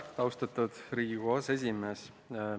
Austatud Riigikogu aseesimees!